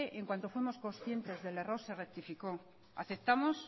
en cuanto fuimos conscientes del error se rectificó aceptamos